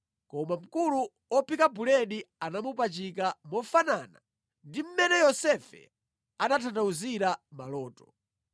koma mkulu wa ophika buledi anamupachika, mofanana ndi mmene Yosefe anatanthauzira maloto.